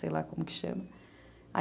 Sei lá como que chama.